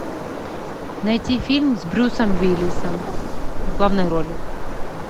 найти фильм с брюсом уиллисом в главной роли